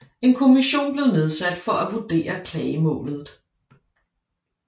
En kommission blev nedsat for at vurdere klagemålet